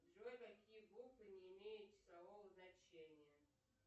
джой какие буквы не имеют числового значения